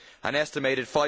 An estimated